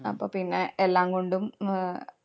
അപ്പൊ പിന്നെ എല്ലാം കൊണ്ടും അഹ്